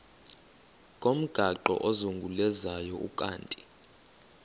ngomgaqo ozungulezayo ukanti